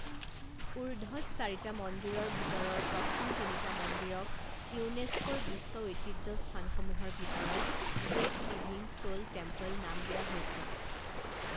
ঊৰ্ধ্বত চাৰিটা মন্দিৰৰ ভিতৰৰ প্ৰথম তিনিটা মন্দিৰক ইউনেস্কোৰ বিশ্ব ঐতিহ্য স্থানসমূহৰ ভিতৰত গ্ৰেট লিভিং চোল টেম্পল নাম দিয়া হৈছে।